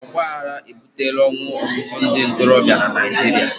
ọgbaghara ebutela ọnwụ ọtụtụ ndị ntorobịa na Naịjirịa